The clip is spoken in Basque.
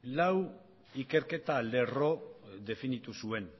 lau ikerketa lerro definitu zuen